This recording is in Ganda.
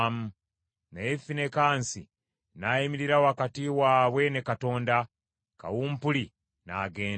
Naye Finekaasi n’ayimirira wakati waabwe ne Katonda, kawumpuli n’agenda.